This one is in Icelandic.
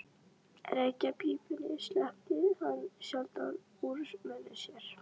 Reykjarpípunni sleppti hann sjaldan úr munni sér.